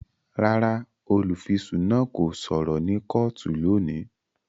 Rárá, olufisun náà kò sọrọ ni kootu loni